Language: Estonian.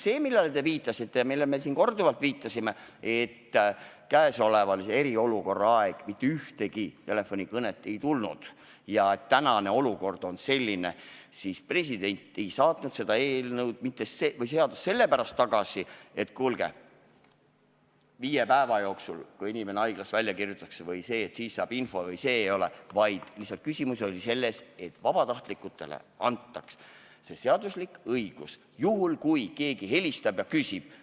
See, millele te viitasite ja millele me siin korduvalt oleme viidanud, et äsjase eriolukorra ajal ei tulnud mitte ühtegi telefonikõnet ja et tänane olukord on selline, siis olgu öeldud, et president ei saatnud seda seadust mitte sellepärast tagasi, et kuulge, alles viie päeva jooksul, pärast seda kui inimene haiglast välja kirjutatakse, saab infot vms, vaid küsimus oli lihtsalt selles, et vabatahtlikele antaks seaduslik õigus juhuks, kui keegi helistab ja küsib.